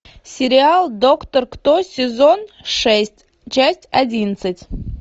сериал доктор кто сезон шесть часть одиннадцать